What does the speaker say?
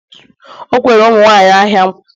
o kwere ụmụ nwanyị ahịa nkwa